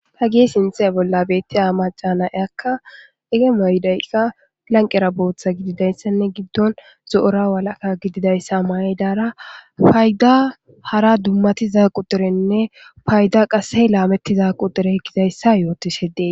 ta gi sinthe bolla beettiy a macana eakka ege mayidayka lanqera booththa gididayssanne giddon zo7ora walaka gididayssa mayydara payda hara dummati za qu derenne payda qassey laamettiza qu dere gidayssa yootishe dee